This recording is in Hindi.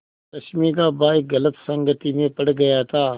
रश्मि का भाई गलत संगति में पड़ गया था